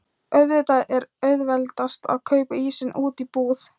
Auðvitað er auðveldast að kaupa ísinn úti í búð.